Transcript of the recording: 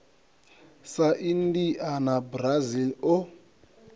sa india na brazil o